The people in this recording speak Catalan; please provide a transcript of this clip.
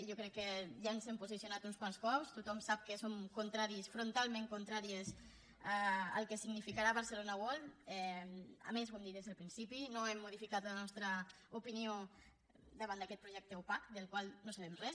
jo crec que ja ens hem posicionat uns quants cops tothom sap que som contraris frontalment contràries al que significarà barcelona world a més ho hem dit des del principi no hem modificat la nostra opinió davant d’aquest projecte opac del qual no sabem res